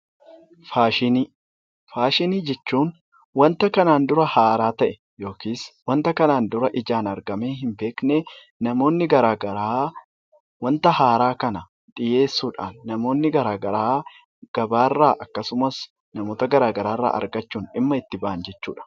Faashinii Faashinii jechuun wanta kana dura haaraa ta'e yookiis wanta kanaan dura ijaan argamee hin beekne, namoonni gara garaa wanta haaraa kana dhiyeessuu dhaan, namoonni gara garaa gabaa irraa akkasumas namoota gara garaa irraa argachuun dhimma itti bahan jechuu dha.